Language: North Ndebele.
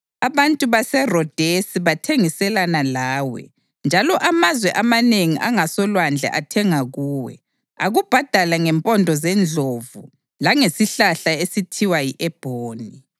Abantu baseRodesi bathengiselana lawe, njalo amazwe amanengi angasolwandle athenga kuwe, akubhadala ngempondo zendlovu langesihlahla esithiwa yi-ebhoni.